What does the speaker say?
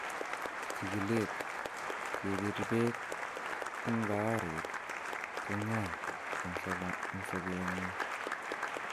Chigilet: Kebir beek en baarit ko ng'oi en sobeng'ung